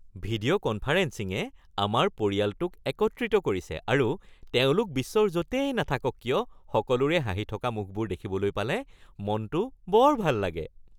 ভিডিঅ’-কনফাৰেন্সিঙে আমাৰ পৰিয়ালটোক একত্ৰিত কৰিছে আৰু তেওঁলোক বিশ্বৰ য’তেই নাথাকক কিয় সকলোৰে হাঁহি থকা মুখবোৰ দেখিবলৈ পালে মনটো বৰ ভাল লাগে